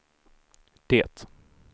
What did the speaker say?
det